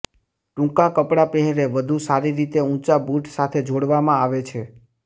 ટૂંકા કપડાં પહેરે વધુ સારી રીતે ઊંચા બૂટ સાથે જોડવામાં આવે છે